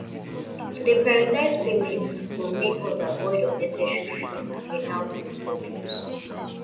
to dey prioritize payments go help us avoid unnecessary fees and penalties for bills